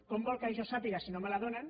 com vol que jo ho sàpiga si no me la donen